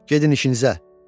Gedin işinizə.